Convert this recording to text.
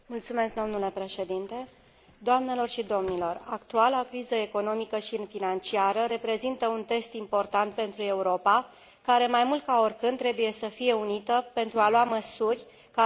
Actuala criză economică și financiară reprezintă un test important pentru Europa care, mai mult ca oricând, trebuie să fie unită pentru a lua măsuri care vor permite o redresare a economiei în cel mai scurt timp.